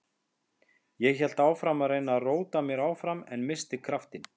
Ég hélt áfram að reyna að róta mér áfram en missti kraftinn.